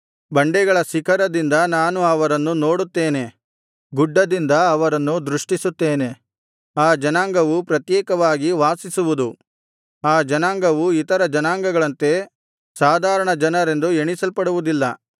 ಬಂಡೆಗಳ ಶಿಖರದಿಂದ ನಾನು ಅವರನ್ನು ನೋಡುತ್ತೇನೆ ಗುಡ್ಡದಿಂದ ಅವರನ್ನು ದೃಷ್ಟಿಸುತ್ತೇನೆ ಆ ಜನಾಂಗವು ಪ್ರತ್ಯೇಕವಾಗಿ ವಾಸಿಸುವುದು ಆ ಜನಾಂಗವು ಇತರ ಜನಾಂಗಗಳಂತೆ ಸಾಧಾರಣ ಜನರೆಂದು ಎಣಿಸಲ್ಪಡುವುದಿಲ್ಲ